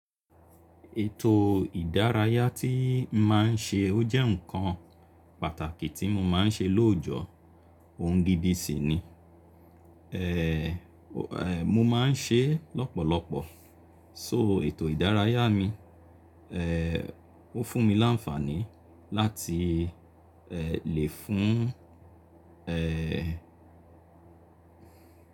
Ètò ìdárayá tí máa ń ṣe ó jẹ́ ǹkan pàtàkì tí mo máa ń ṣe lóòjọ́, ohun dídì sí ni. Mo máa ń ṣe é lọ́pọ̀lọpọ̀, so ètò ìdárayá mi ó fún mi láǹfààní láti lè fún.